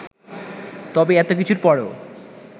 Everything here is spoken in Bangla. তবে এতকিছুর পরও